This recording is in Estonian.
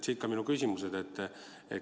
Siit ka minu küsimused.